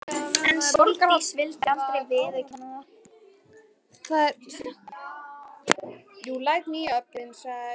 En Sóldís vildi aldrei viðurkenna það.